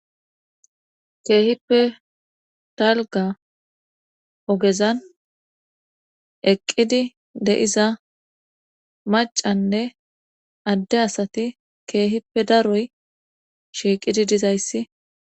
keehippe dalga ogezan eqqidi de7iza macanne adde asati keehippe daroy shiiqidi dizayssi.